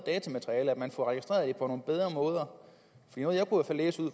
at man får registreret det på nogle bedre måder